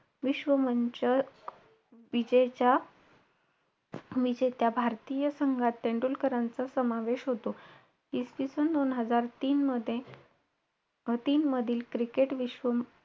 आता तर आई मला मारत नाही.पण ओरडते.आई मला ओरडाय लागली ना त मला खूप भीती आणी रडायला वाटत.